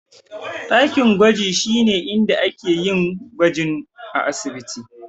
Dakin gwaji shine inda ake yin gwaji a asibiti.